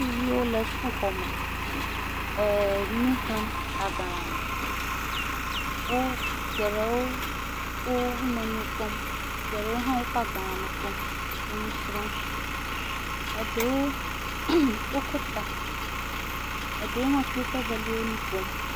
Sukviwo le suk xɔ me, nu xlēm agbalã me, geɖewo wo nonoe kpɔm, geɖewo hã woƒe agbalã me kpɔm enu srɔm, eɖewo wo ko ta eɖewo hã kpli woƒe veliawo nu ƒom.